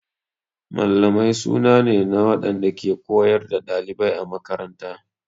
Mallamai suna ne na waɗanda ke koyar da ɗalibai a makaranta.